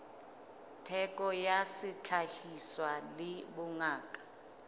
theko ya sehlahiswa le bongata